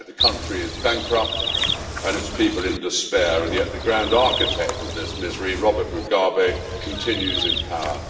In fact, the country is bankrupt and its people in despair, and yet the grand architect of this misery, Robert Mugabe, continues in power.